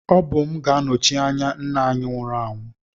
Ọ bụ m ga-anọchi anya nna anyị nwụrụ anwụ